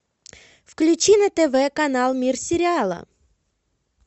включи на тв канал мир сериала